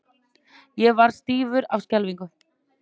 Ég varð stífur af skelfingu.